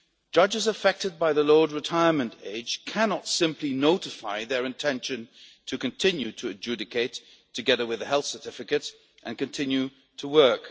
Judges affected by the lowered retirement age cannot simply notify their intention to continue to adjudicate, together with a health certificate, and continue to work.